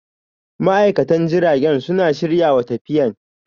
ma'aikatan jiragen suna shiryawa tafiyan.